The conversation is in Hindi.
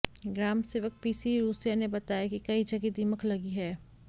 ग्राम सेवक पीसी रूसिया ने बताया कि कई जगह दीमक लगी है